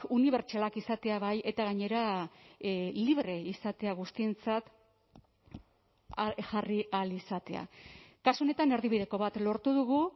unibertsalak izatea bai eta gainera libre izatea guztientzat jarri ahal izatea kasu honetan erdibideko bat lortu dugu